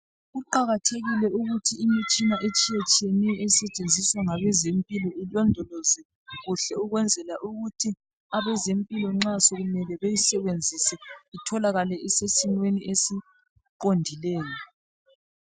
Kuqakathekile ukuthi imitshina etshiyetshiyeneyo esetshenziswa ngabezempilo ilondolozwe kuhle ukwenzela ukuthi abezempilo nxa sokumele beyisebenzise itholakale isesimeni esiqondileyo.